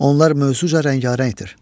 Onlar mövzu rəngarəngdir.